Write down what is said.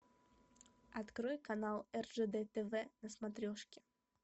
открой канал ржд тв на смотрешке